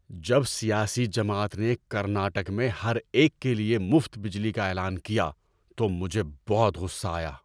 جب سیاسی جماعت نے کرناٹک میں ہر ایک کے لیے مفت بجلی کا اعلان کیا تو مجھے بہت غصہ آیا۔